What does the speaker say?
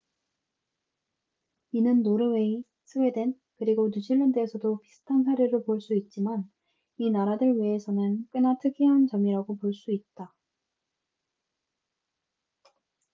이는 노르웨이 스웨덴 그리고 뉴질랜드에서도 비슷한 사례로 볼 수 있지만 이 나라들 외에서는 꽤나 특이한 점이라고 볼 수 있다뉴질랜드에서는 40명당 한 명 꼴이다